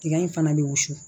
Tiga in fana bɛ wusu